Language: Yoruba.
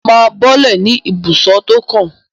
Mo máa bọ́lẹ̀ ní ibùsọ̀ tó kàn.